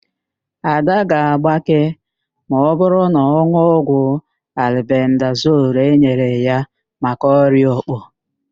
Ada ga-agbake ma ọbụrụ na ọ n̄ụọ ọgwụ albendazol enyere ya maka ọrịa òkpò.